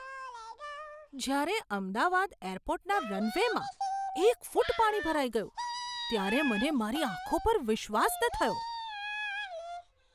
જ્યારે અમદાવાદ એરપોર્ટના રનવેમાં એક ફૂટ પાણી ભરાઈ ગયું ત્યારે મને મારી આંખો પર વિશ્વાસ ન થયો.